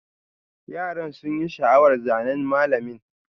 Yaran sun yi sha'awar zanen mallamin.